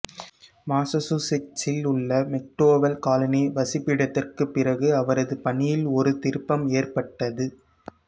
மாசசூசெட்ஸில் உள்ள McDowell colony வசிப்பிடத்திற்குப் பிறகு அவரது பணியில் ஒரு திருப்பம் ஏற்பட்டது